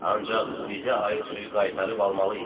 Ancaq bizə aid suyu qaytarıb almalıyıq.